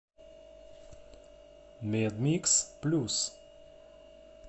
медмикс плюс